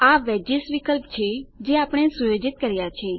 આ વેજીસ વિકલ્પ છે જે આપણે સુયોજિત કર્યા છે